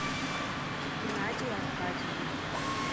геннадий аркадьевич